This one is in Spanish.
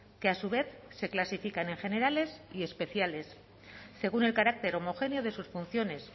que a su vez se clasifican en generales y especiales según el carácter homogéneo de sus funciones